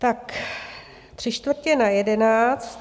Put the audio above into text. Tak tři čtvrtě na jedenáct.